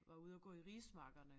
Var ude og gå i rismarkerne